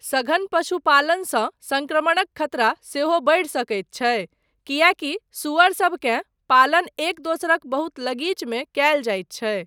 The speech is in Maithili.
सघन पशुपालनसँ संक्रमणक खतरा सेहो बढ़ि सकैत छै, किएकी सुअरसबकेँ पालन एक दोसरक बहुत लगीचमे कयल जाइत छै।